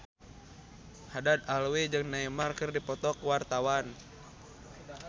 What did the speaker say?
Haddad Alwi jeung Neymar keur dipoto ku wartawan